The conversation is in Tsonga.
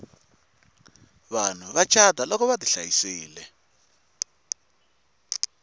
vanhu va cata loko vati hlayisile